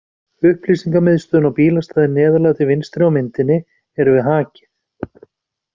Upplýsingamiðstöðin og bílastæðið neðarlega til vinstri á myndinni eru við Hakið.